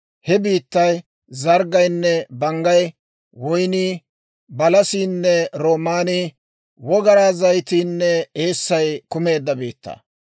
He biittay zarggaynne banggay, woynnii, balasiinne roomaanii, wogaraa zayitiinne eessay kumeedda biittaa.